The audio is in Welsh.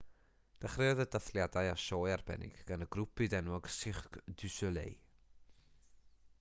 dechreuodd y dathliadau â sioe arbennig gan y grŵp byd-enwog cirque du soleil